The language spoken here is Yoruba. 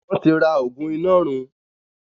wón tí rà oògùn Inọrun